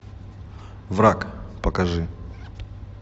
враг покажи